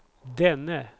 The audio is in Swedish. denne